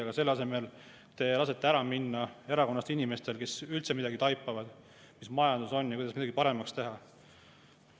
Aga selle asemel te lasete erakonnast ära minna inimestel, kes üldse midagi taipavad sellest, mis majandus on ja kuidas midagi paremaks teha.